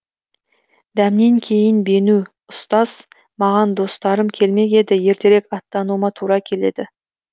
дәмнен кейін бену ұстаз маған достарым келмек еді ертерек аттануыма тура келеді